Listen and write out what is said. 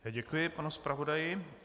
Děkuji panu zpravodaji.